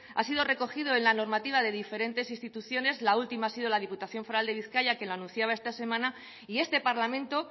ha sido recogido en la normativa de diferentes instituciones la última ha sido la diputación foral de bizkaia que lo anunciaba esta semana y este parlamento